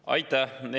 Aitäh!